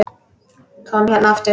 Tom hérna aftur.